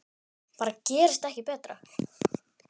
Bara gerist ekki betra!